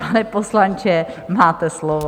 Pane poslanče, máte slovo.